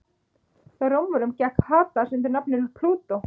Hjá Rómverjum gekk Hades undir nafninu Plútó.